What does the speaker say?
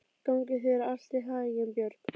Gangi þér allt í haginn, Björg.